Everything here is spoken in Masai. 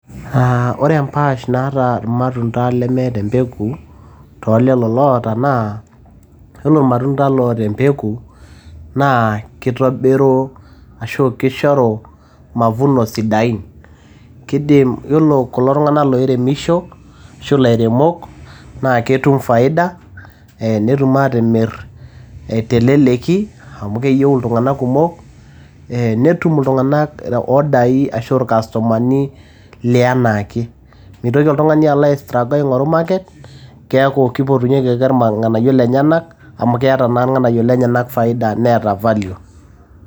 Aaah ore empaash naata ilmatunda lemeeta empeku too lelo loota naa, yiolo ilmatunda loota empeku naa kitobiru ashu kishoru mavuno sidain. Kidim yiolo kulo tung`anak loiremisho ashu ilairemok naa ketum faida eeh netum aatimirr teleleki amu keyieu iltung`anak kumok netum iltung`anak order ai ashu il customer ni lianaake. Mitoki oltung`ani alo ai struggle aing`oru market keeku keipotunyieki ake ilng`anayio lenyenak amu keeta naa ilng`anayio lenyenak faida neeta sii value.